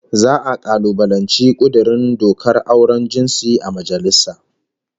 Za'a kalubalanci kudurin dokar auren jinsi a majalisa